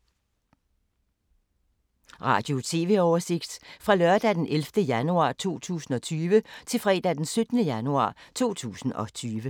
Radio/TV oversigt fra lørdag d. 11. januar 2020 til fredag d. 17. januar 2020